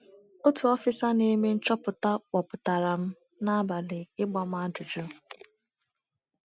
Otu ọfịsa na - eme nchọpụta kpọpụtara m n’abalị ịgba m ajụjụ.